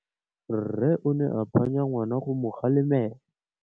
Rre o ne a phanya ngwana go mo galemela.